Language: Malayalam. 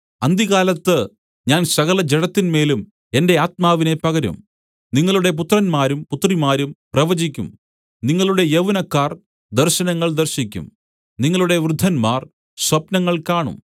അന്ത്യകാലത്ത് ഞാൻ സകലജഡത്തിന്മേലും എന്റെ ആത്മാവിനെ പകരും നിങ്ങളുടെ പുത്രന്മാരും പുത്രിമാരും പ്രവചിക്കും നിങ്ങളുടെ യൗവനക്കാർ ദർശനങ്ങൾ ദർശിക്കും നിങ്ങളുടെ വൃദ്ധന്മാർ സ്വപ്നങ്ങൾ കാണും